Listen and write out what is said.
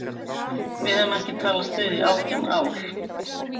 Við höfum ekki talast við í átján ár.